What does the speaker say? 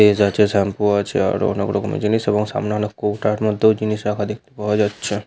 Less আছে shampoo আছে আরো অনেক রকমের জিনিস এবং সামনে অনেক কৌটার মধ্যেও জিনিস রাখা দেখতে পাওয়া যাচ্ছে।